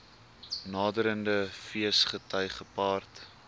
naderende feesgety gepaard